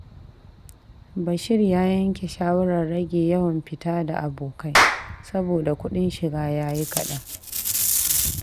Bashir ya yanke shawarar rage yawan fita da abokai saboda kudin shiga ya yi kadan.